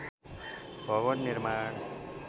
भवन निर्माण